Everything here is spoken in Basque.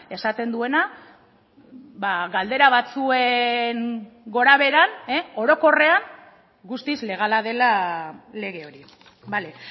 esaten duena galdera batzuen gorabeheran orokorrean guztiz legala dela lege hori bale